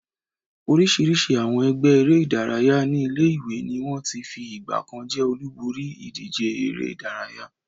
Oríṣiríṣi àwọn ẹgbẹ́ eré-idárayá ní ilé-ìwé ni wọ́n ti fi ìgbà kan jẹ́ olúborí ìdíje eré-idárayá.